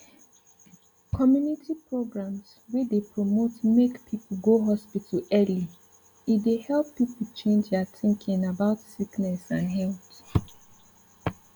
community programs wey dey promote make people go hospital early e dey help people change their thinking about sickness and health